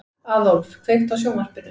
Aðólf, kveiktu á sjónvarpinu.